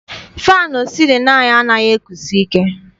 Faanụ sịlịnụ anyị anaghị ekusi ike.